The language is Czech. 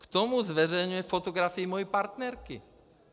K tomu zveřejňuje fotografii mé partnerky.